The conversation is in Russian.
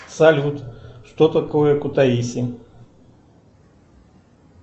салют что такое кутаиси